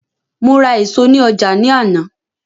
Mo ra èso ní ọjà ní àná